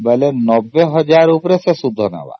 ୯୦୦୦୦ ଉପରେ ସେ ସୁଧ ନବ